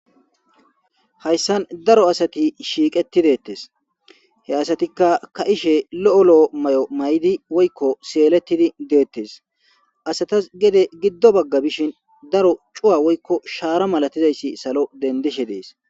Haysan daro asati shiqetidetes he asatika ka'ishe lo'o lo'o ma'o may'idi woyko seletidi detes asatas gede gido baga bishin daro c'uwa woyko shara malatizayiysi salo dendishe dee'es.